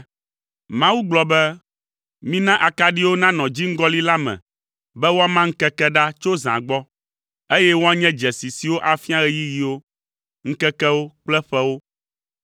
Mawu gblɔ be, “Mina akaɖiwo nanɔ dziŋgɔli la me be woama ŋkeke ɖa tso zã gbɔ, eye woanye dzesi siwo afia ɣeyiɣiwo, ŋkekewo kple ƒewo,